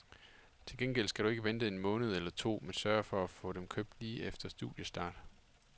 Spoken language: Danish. Til gengæld skal du ikke vente en måned eller to, men sørge for at få dem købt lige efter studiestart.